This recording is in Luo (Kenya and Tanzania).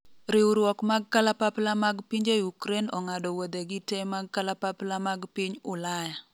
riwruok mag kalapapla mag pinje Ukraine ong'ado wuodhegi te mag kalapapla mag piny Ulaya